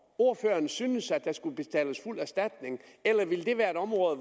ordføreren synes at der skal betales fuld erstatning eller vil det være et område